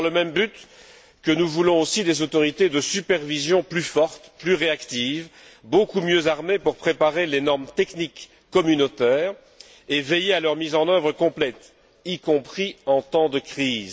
C'est dans le même but que nous voulons aussi des autorités de supervision plus fortes, plus réactives, beaucoup mieux armées pour préparer les normes techniques communautaires et veiller à leur mise en œuvre complète, y compris en temps de crise.